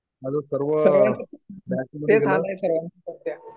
माझं सर्व